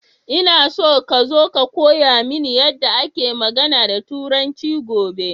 Ina so ka zo ka koya mini yadda ake magAna da turanci gobe